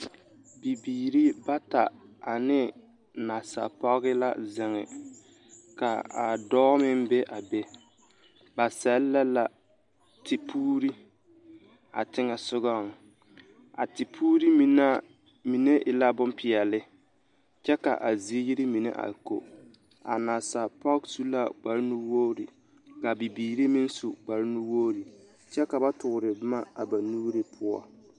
Bibiiri bata ane nasa pɔge la zeŋ ka a dɔɔ meŋ be a be, ba sɛlɛ la tepuuri a teŋɛ sogɔŋ a tepuuri mine e la bompeɛle kyɛ ka a ziiri mine a ko, a nasa pɔge su la kpare nu-wogiri ka a bibiiri meŋ su kpare nu-wogiri kyɛ ka ba toore boma a ba nuuri poɔ.